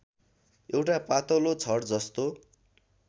एउटा पातलो छडजस्तो